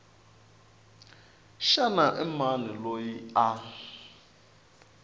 xana i mani loyi a